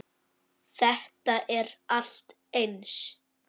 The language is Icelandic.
Þetta er allt eins.